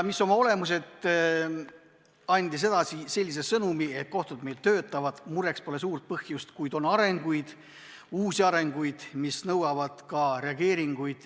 Põhimõtteliselt ta andis edasi sellise sõnumi, et kohtud meil töötavad, mureks pole suurt põhjust, kuid on uusi arenguid, mis nõuavad reageerimist.